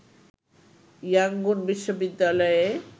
Yangon বিশ্ববিদ্যালয়ে